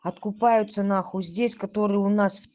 откупаются нахуй здесь которые у нас